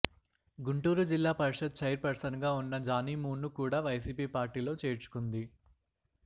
గుంటూరుజిల్లా పరిషత్ chairperson గా ఉన్న జానీమూన్ ను కూడా వైసీపీ పార్టీలో చేర్చుకుంది